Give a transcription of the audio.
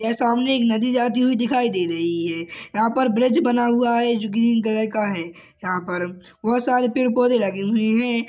यह सामने एक नदी जाती हुई दिखाई दे रही है यहाँ पर ब्रिज बना हुआ है जो ग्रीन कलर का है यहाँ पर बहोत सारे पेड़-पोधे लगे हुए है।